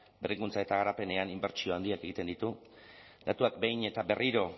berrikuntza eta garapenean inbertsio handiak egiten ditu datuak behin eta berriro